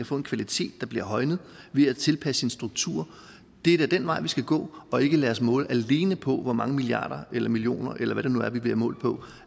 få en kvalitet der bliver højnet ved at tilpasse sin struktur det er da den vej vi skal gå og ikke lade os måle alene på hvor mange milliarder eller millioner eller hvad det nu er vi bliver målt på